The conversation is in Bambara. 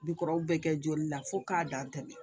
Bikɔrɔw bɛ kɛ joli la fo k'a dan tɛmɛ